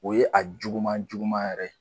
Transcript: O ye a juguman juguman yɛrɛ de ye.